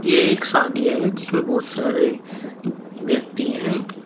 ये एक शादी है जिसमें बहुत सारे व्यक्ति हैं।